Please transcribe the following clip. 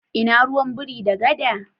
Ina ruwan biri da gada?